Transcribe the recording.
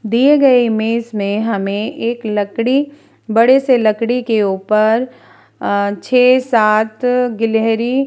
दिए गए इमेज में हमें एक लकड़ी बड़े से लकड़ी के ऊपर अ छे सात अ गिलहरी ।